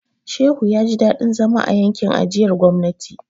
Shehu ya ji dadin zama a yankin ajiyar gwamnati.